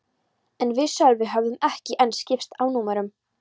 En við Sölvi höfðum ekki enn skipst á númerum.